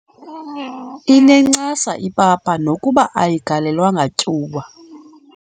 Inencasa ipapa nokuba ayigalelwanga tyuwa.